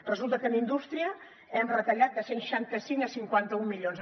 resulta que en indústria hem retallat de cent i seixanta cinc a cinquanta un milions